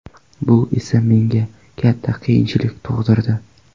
Bu esa menga katta qiyinchilik tug‘dirdi.